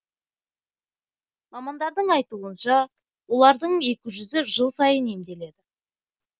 мамандардың айтуынша олардың екі жүзі жыл сайын емделеді